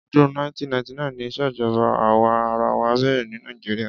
Ọdún 1999 ni ìṣèjọba àwa arawa bẹ̀rẹ̀ ní Nigeria.